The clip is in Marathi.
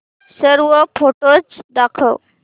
सर्व फोटोझ दाखव